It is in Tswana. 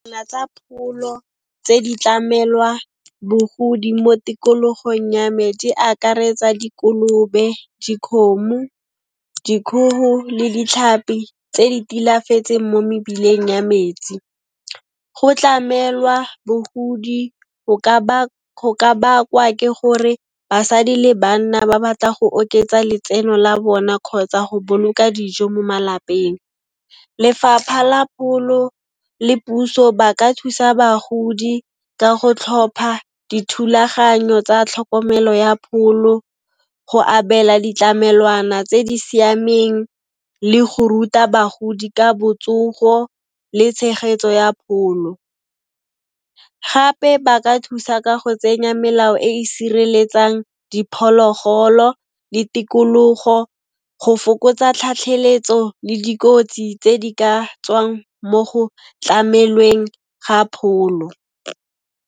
Tsa pholo tse di tlamelwa bogodi mo tikologong ya metsi a akaretsa dikolobe, dikhomo, , dikhoho le ditlhapi tse di tilafetseng mo mebileng ya metsi. Go tlamelwa bogodi go ka bakwa ke gore basadi le banna ba batla go oketsa letseno la bona kgotsa go boloka dijo mo malapeng. Lefapha la pholo le puso ba ka thusa bagodi ka go tlhopha dithulaganyo tsa tlhokomelo ya pholo, go abela ditlamelwana tse di siameng le go ruta bagodi ka botsogo le tshegetso ya pholo. Gape ba ka thusa ka go tsenya melao e e sireletsang diphologolo le tikologo go fokotsa tlhatlheletso le dikotsi tse di ka tswang mo go tlamelweng ga pholo.